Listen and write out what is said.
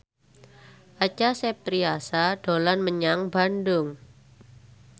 Acha Septriasa dolan menyang Bandung